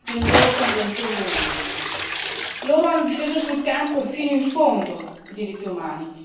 nel loro convento in Burundi, che hanno difeso sul campo e fino in fondo i diritti umani.